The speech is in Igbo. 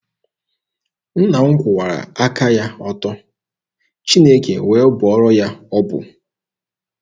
Nna m kwụwara aka ya ọtọ, Chineke wee bụọrọ ya ọbụ.